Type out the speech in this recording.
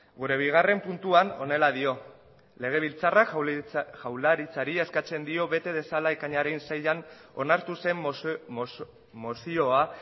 gure bigarren puntuan honela dio legebiltzarrak jaurlaritzari eskatzen dio bete dezala ekainaren seian onartu zen mozioa